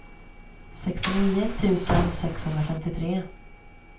sextionio tusen sexhundrafemtiotre